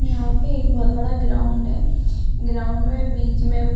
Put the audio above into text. यहाँ पे एक बहोत बड़ा ग्राउन्ड है। ग्राउन्ड में बीच में --